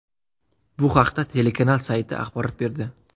Bu haqda telekanal sayti axborot berdi .